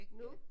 Nu